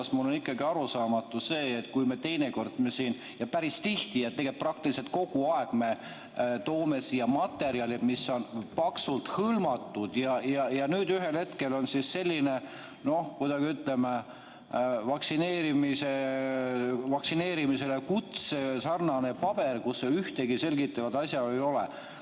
Minu jaoks on ikkagi arusaamatu see, et teinekord – tegelikult päris tihti ja praktiliselt kogu aeg – toome siia materjali, mis on paksult hõlmatud, aga nüüd ühel hetkel on siin selline vaktsineerimiskutsega sarnane paber, kus ühtegi selgitavat asjaolu ei ole.